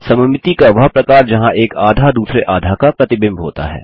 सममिति को वह प्रकार जहाँ एक आधा दूसरे आधा का प्रतिबिंब होता है